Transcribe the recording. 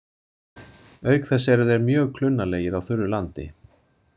Auk þess eru þeir mjög klunnalegir á þurru landi.